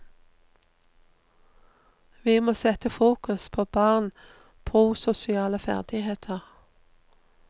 Vi må sette fokus på barn prososiale ferdigheter.